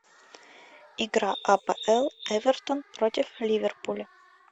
игра апл эвертон против ливерпуля